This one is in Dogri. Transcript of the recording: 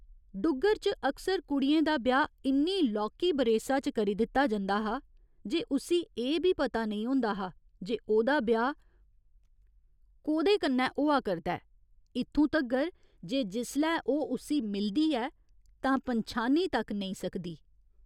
डुग्गर च अक्सर कुड़ियें दा ब्याह् इन्नी लौह्की बरेसा च करी दित्ता जंदा हा जे उस्सी एह् बी पता नेईं होंदा हा जे ओह्दा ब्याह् कोह्दे कन्नै होआ करदा ऐ, इत्थूं तगर जे जिसलै ओह् उस्सी मिलदी ऐ तां पन्छानी तक नेईं सकदी।